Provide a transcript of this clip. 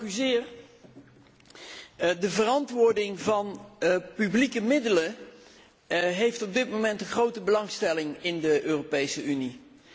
Voorzitter, de verantwoording van publieke middelen heeft op dit moment grote belangstelling in de Europese Unie.